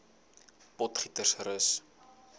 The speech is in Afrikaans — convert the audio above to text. potgietersrus